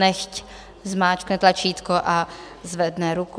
Nechť zmáčkne tlačítko a zvedne ruku.